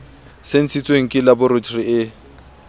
se ntshitsweng ke laboratori e